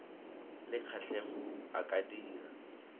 le kgatlhego a ka dira